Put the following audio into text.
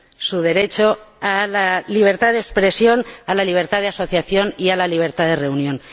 su derecho a la libertad de expresión, a la libertad de asociación y a la libertad de reunión.